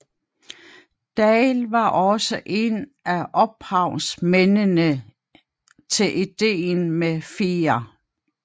Daell var også en af ophavsmændene til idéen med 4